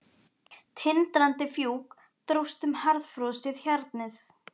Tindrandi fjúk dróst um harðfrosið hjarnið.